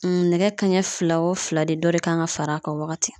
N nɛgɛ kanɲɛ fila o fila de dɔ de kan ka far'a kan o wagati